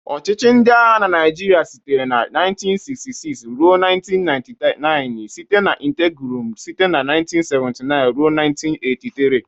Ọchịchị ndị agha na Nigeria sitere na 1966 ruo 1999 site na interregnum site na 1979 ruo 1983.